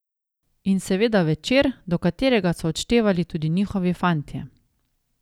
In seveda večer, do katerega so odštevali tudi njihovi fantje.